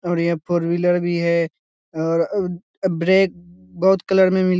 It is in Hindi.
और यहाँ फोर व्हीलर भी है और अअ ब्रेक बहुत कलर में मिल --